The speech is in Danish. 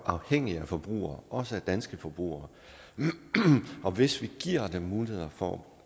afhængige af forbrugere også danske forbrugere og hvis vi giver dem muligheder for